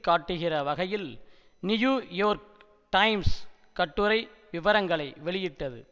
காட்டுகிற வகையில் New York Times கட்டுரை விவரங்களை வெளியிட்டது